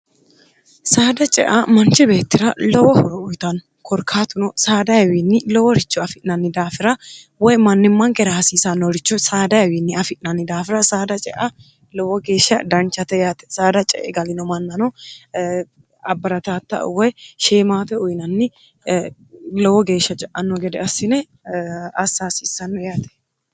saada cea manchi beettira lowo horo uyitanno korkaatuno saadayiwiinni loworicho afi'nanni daafira woy mannimmakera haasiisannorichu saadayawiinni afi'nanni daafira saada cea lowo geeshsha danchate yaate saada ce'e galino mannano abbarattaata woy shiimaate uyinanni lowo geeshsha ce'anno gede assine hassaawissanno yaate